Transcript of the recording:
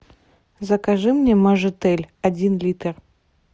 закажи мне мажитель один литр